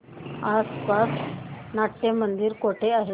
आसपास नाट्यमंदिर कुठे आहे